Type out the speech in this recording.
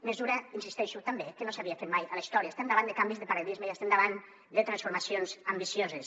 mesura hi insisteixo també que no s’havia fet mai a la història estem davant de canvis de paradigma i davant de transformacions ambicioses